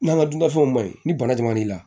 N'an ka dunan fɛnw ma ɲi ni bana jama la